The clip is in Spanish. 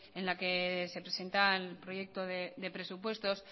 en la que se presentan el proyecto de presupuestos